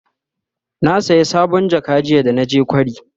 na saya sabon jaka jiya da naje kwari